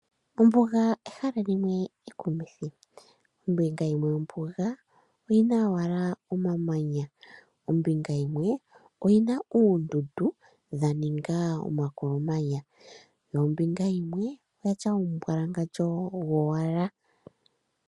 Ombuga ehala limwe ekumithi, kombinga yimwe yombuga okuna owala omamanya, kombinga yimwe oyina oondundu dha ninga omakolomanya, yo kombinga yimwe oya tya omumbwalangandjo go wala.